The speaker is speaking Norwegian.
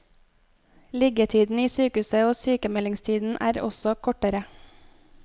Liggetiden i sykehuset og sykemeldingstiden er også kortere.